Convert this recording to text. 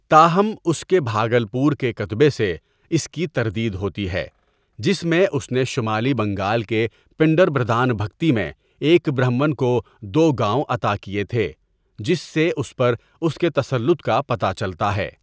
تاہم، اس کے بھاگلپور کےکتبے سےاس کی تردید ہوتی ہے، جس میں اس نے شمالی بنگال کے پنڈربردھانبھکتی میں ایک برہمن کو دو گاؤں عطا کیے تھے، جس سے اس پر اس کےتسلط کاپتہ چلتا ہے۔